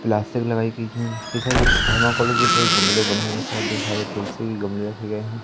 Plastic लगाई गई है जिसके साथ थर्माकोल के सारे गमले बने हैं ढेर सारे तुलसी के गमले रखे गए हैं।